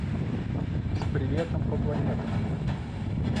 с приветом по планетам